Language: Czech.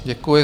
Děkuji.